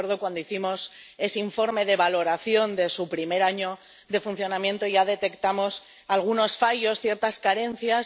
Y recuerdo que, cuando hicimos ese informe de valoración de su primer año de funcionamiento, ya detectamos algunos fallos, ciertas carencias.